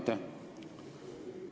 Aitäh!